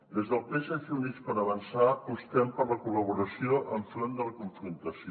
des del psc i units per avançar apostem per la col·laboració enfront de la confrontació